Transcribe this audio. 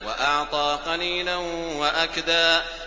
وَأَعْطَىٰ قَلِيلًا وَأَكْدَىٰ